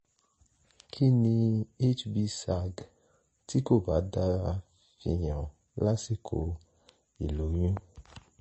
kí ni hbsag tí kò bá dára fi hàn lásìkò ìlóyún?